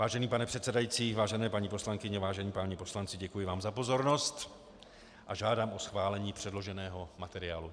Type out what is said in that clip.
Vážený pane předsedající, vážené paní poslankyně, vážení páni poslanci, děkuji vám za pozornost a žádám o schválení předloženého materiálu.